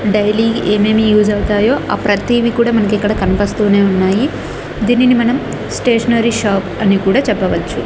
Daily ఏమేమి use అవుతాయో ఆ ప్రతీవి కూడా మనకిక్కడ కనపస్తూనే ఉన్నాయి దీనిని మనం స్టేషనరీ షాప్ అని కూడా చెప్పవచ్చు.